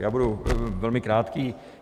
Já budu velmi krátký.